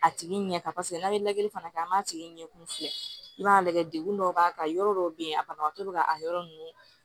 A tigi ɲɛ kan paseke n'a ye lajɛli fana kɛ an b'a tigi ɲɛkun fiyɛ i b'a lajɛ degun dɔw b'a kan yɔrɔ dɔw bɛ yen a banabagatɔ bɛ ka a yɔrɔ ninnu